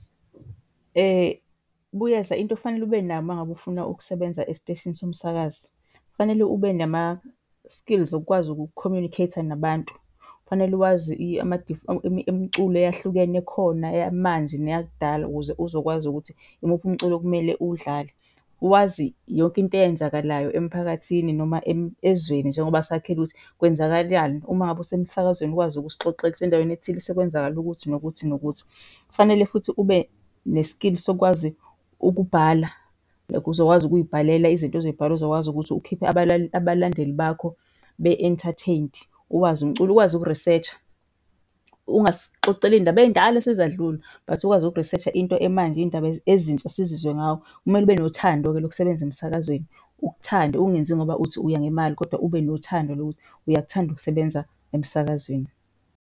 Buyeza, into ofanele ube nayo mangabe ufuna ukusebenza esiteshini somsakazi, kufanele ube nama-skills okukwazi uku-communicate-a nabantu, kufanele wazi imiculo eyahlukene ekhona yamanje neyakudala ukuze uzokwazi ukuthi umuphi umculo okumele uwudlale, wazi yonke into eyenzakalayo emphakathini noma ezweni njengoba sakhile ukuthi kwenzakalani. Uma ngabe usemsakazweni ukwazi ukusixoxela ukuthi endaweni ethile sekwenzakale ukuthi nokuthi nokuthi. Kufanele futhi ube ne-skill sokukwazi ukubhala, like uzokwazi ukuy'bhalela izinto ozoy'bhala, ozokwazi ukuthi u-keep-e abalandeli bakho be-entertained, uwazi umculo. Ukwazi uku-research-a, ungasixoxeli iy'ndaba ey'ndala esezadlula but ukwazi uku-research-a into emanje, iy'ndaba ezintsha sizizwe ngawe. Kumele ube nothando-ke lokusebenza emsakazweni, ukuthande ungenzi ngoba uthi uya ngemali kodwa ube nothando lokuthi uyakuthanda ukusebenza emsakazweni.